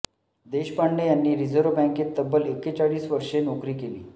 देशपांडे यांनी रिझर्व्ह बँकेत तब्बल एकेचाळीस वर्षे नोकरी केली